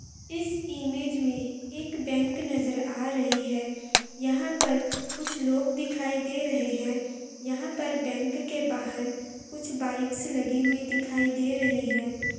इस इमेज में एक बैंक नजर आ रही है यहां पर कुछ लोग दिखाई दे रहे हैं यहां पर बैंक के बाहर कुछ बाइक्स लगी हुई दिखाई दे रही है।